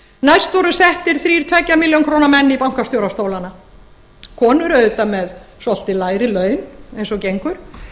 næst voru settir þrír tveggja milljóna króna menn í bankastjórastólana konur auðvitað með svolítið lægri laun eins og gengur